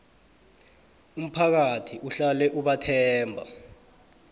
umphakathi uhlale ubathemba